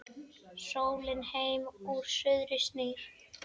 Sólin heim úr suðri snýr